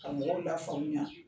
Ka mɔgɔw lafaamuya.